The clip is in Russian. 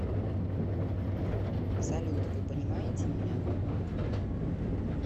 салют вы понимаете меня